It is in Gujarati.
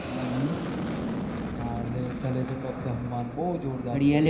હા The legend of the hanuman બહુ જોરદાર